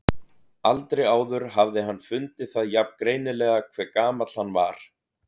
Aldrei áður hafði hann fundið það jafn greinilega hve gamall hann var.